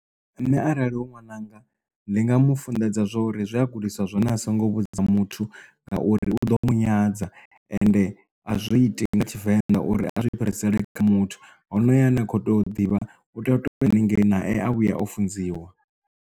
Nṋe arali hu ṅwananga ndi nga mu funḓedza zwori zwe a gudiswa zwone a songo vhudza muthu ngauri u ḓo mu nyadza ende a zwi iti nga tshivenḓa uri a si fhirisele kha muthu ho no yo ane a kho tea u ḓivha u tea u toya u haningei naye a vhuya o funziwa.